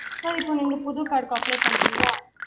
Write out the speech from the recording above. sir நீங்க இப்போ புது card க்கு apply பண்றிங்களா